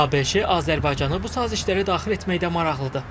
ABŞ Azərbaycanı bu sazişlərə daxil etməkdə maraqlıdır.